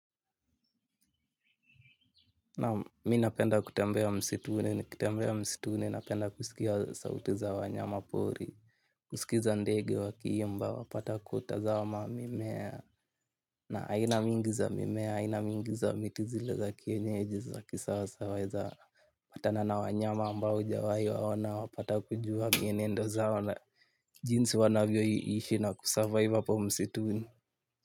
Naam mimi napenda kutembea msituni ni kitembea msituni napenda kusikia sauti za wanyama pori. Kusikiza ndege wa kii mba wapata kuta za ma mimea. Na aina mingiza mimea aina mingiza mitizile za kienyeji za kisawasaweza patana na wanyama ambao hujawai waona wapata kujua mienendo za ona. Jinsi wanavyo ishi na kusurvive hapo msituni.